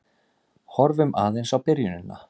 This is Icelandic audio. Horfum aðeins á byrjunina.